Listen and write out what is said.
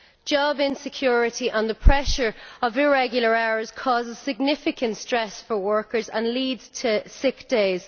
Job insecurity and the pressure of irregular hours causes significant stress for workers and leads to sick days.